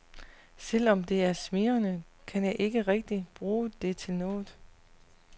Selv om det er smigrende, kan jeg ikke rigtigt bruge det til noget.